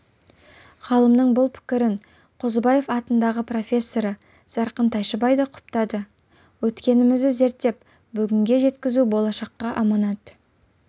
ғалымның бұл пікірін қозыбаев атындағы профессоры зарқын тайшыбай да құптады өткенімізді зерттеп бүгінге жеткізу болашаққа аманат